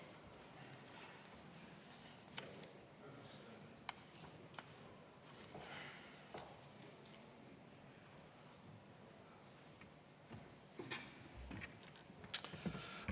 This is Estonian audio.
Aitäh!